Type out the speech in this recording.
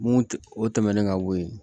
Mun tɛ o tɛmɛnen ka bɔ yen